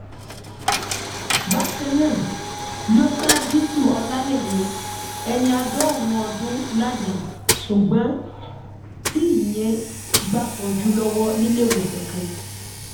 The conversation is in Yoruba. bákan náà ló ṣa diṣu ọlálẹyé ẹni àádọrùnún ọdún ládàá ṣùgbọn tí ìyẹn ń gbàtọjú lọwọ níléewọsán kan